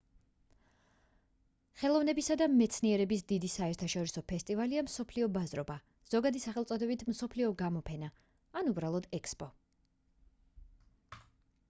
ხელოვნებისა და მეცნიერების დიდი საერთაშორისო ფესტივალია მსოფლიო ბაზრობა ზოგადი სახელწოდებით მსოფლიო გამოფენა ან უბრალოდ ექსპო